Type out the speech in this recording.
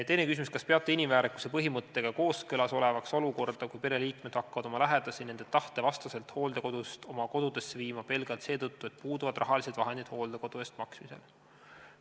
Teine küsimus: "Kas peale inimväärikuse põhimõttega kooskõlas olevaks olukorda, kui pereliikmed hakkavad oma lähedasi nende tahte vastaselt hooldekodust oma kodudesse viima pelgalt seetõttu, et puuduvad rahalised vahendid hooldekodu eest maksmisel?